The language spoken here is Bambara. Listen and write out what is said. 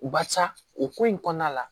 Barisa o ko in kɔnɔna la